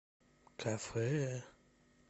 кафе